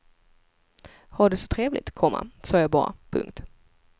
Ha det så trevligt, komma sa jag bara. punkt